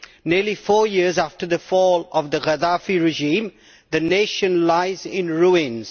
Nearly four years after the fall of the Gadaffi regime, the nation lies in ruins.